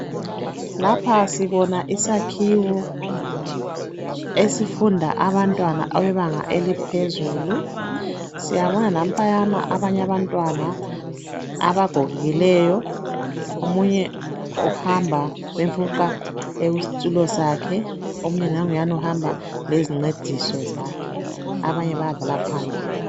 Lapha sibona isakhiwo. Esifunda abantwana ababebanga eliphezulu. Siyabona nampayana abanye abantwana, abagogekileyo. Omunye uhamba, bemfuqa ekusitulo sakhe. Omunye nanguyana uhamba ngezincediso zakhe. Abanye bayadlala phandle.